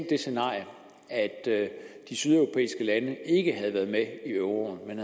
det scenario at de sydeuropæiske lande ikke havde været med i euroen men